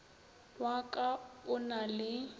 wa ka o na le